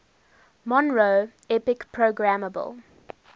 monroe epic programmable